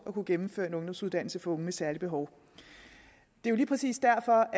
kunne gennemføre en ungdomsuddannelse for unge med særlige behov det er lige præcis derfor